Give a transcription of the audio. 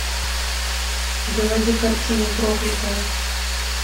заводи картину проклятая